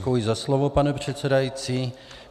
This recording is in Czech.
Děkuji za slovo, pane předsedající.